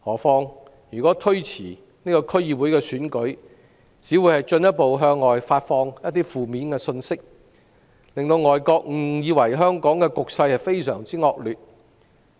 此外，推遲區議會選舉，只會進一步向外發放負面信息，令外國誤以為香港的局勢非常惡劣。